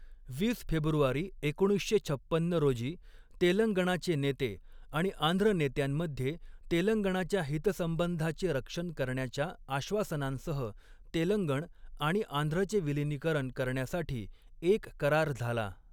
वीस फेब्रुवारी एकोणीसशे छप्पन्न रोजी तेलंगणाचे नेते आणि आंध्र नेत्यांमध्ये तेलंगणाच्या हितसंबंधाचे रक्षन करण्याच्या आश्वासनांसह, तेलंगण आणि आंध्रचे विलीनीकरण करण्यासाठी एक करार झाला.